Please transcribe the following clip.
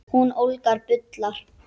Hún ólgar og bullar.